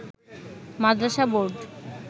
Madrasa board